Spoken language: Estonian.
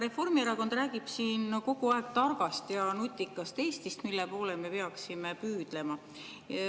Reformierakond räägib siin kogu aeg targast ja nutikast Eestist, mille poole me peaksime püüdlema.